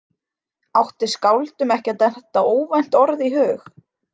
Átti skáldum ekki að detta óvænt orð í hug?